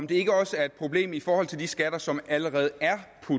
det ikke også et problem i forhold til de skatter som allerede er